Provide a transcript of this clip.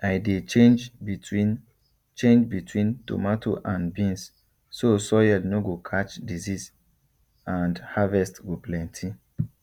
i dey change between change between tomato and beans so soil nor go catch disease and harvest go plenty